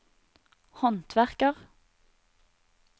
håndverker